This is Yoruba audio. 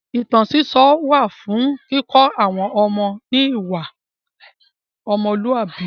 Ìtàn sísọ wà fún kíkọ́ àwọn ọmọ ní ìwà ọmọlúàbí.